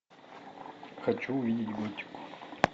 хочу увидеть готику